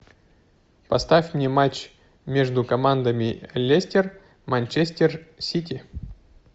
поставь мне матч между командами лестер манчестер сити